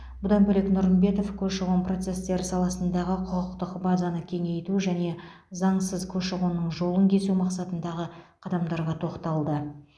бұдан бөлек нұрымбетов көші қон процестері саласындағы құқықтық базаны кеңейту және заңсыз көші қонның жолын кесу мақсатындағы қадамдарға тоқталды